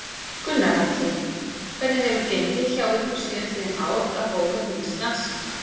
Gunnar Atli: Hvernig hefur gengið hjá ykkur síðastliðin ár að bóka til Íslands?